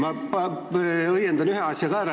Ma õiendan ühe asja ka ära.